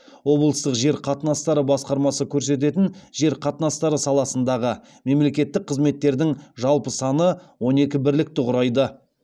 облыстық жер қатынастары басқармасы көрсететін жер қатынастары саласындағы мемлекеттік қызметтердің жалпы саны он екі бірлікті құрайды